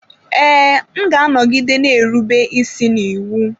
Ee, m ga-anọgide na-erube isi n'iwu.